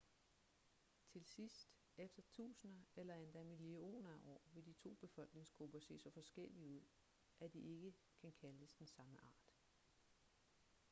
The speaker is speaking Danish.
til sidst efter tusinder eller endda millioner af år vil de to befolkningsgrupper se så forskellige ud at de ikke kan kaldes den samme art